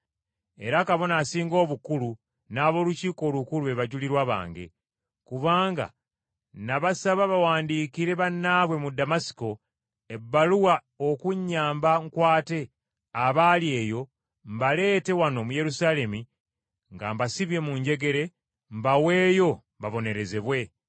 Era Kabona Asinga Obukulu n’ab’Olukiiko Olukulu be bajulirwa bange. Kubanga nabasaba bawandiikire bannaabwe mu Damasiko ebbaluwa okunnyamba nkwate abaali eyo mbaleete wano mu Yerusaalemi nga mbasibye mu njegere mbaweeyo babonerezebwe.